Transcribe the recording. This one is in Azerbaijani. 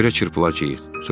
Yerə çırpılacağıq.